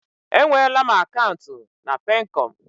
E nweela m akaụntụ na Peekọm.